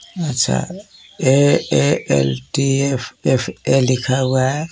अच्छा A A L T F F A लिखा हुआ है.